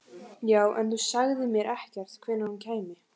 Já, en þú sagðir mér ekkert hvenær hún kæmi.